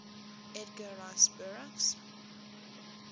edgar rice burroughs